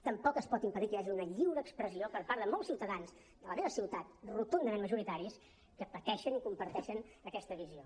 tampoc es pot impedir que hi hagi una lliure expressió per part de molts ciutadans de la meva ciutat rotundament majoritaris que pateixen i comparteixen aquesta visió